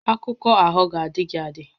Akụkọ aghụghọ adịghị adị